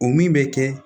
O min bɛ kɛ